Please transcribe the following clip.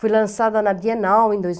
Fui lançada na Bienal em dois